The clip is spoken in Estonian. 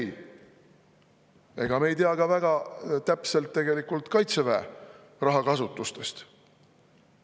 Ega me tegelikult ei tea ka väga täpselt Kaitseväe rahakasutuse kohta.